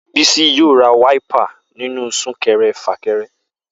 Bisi yóò ra wáípà nínú súkẹrẹ fàkẹrẹ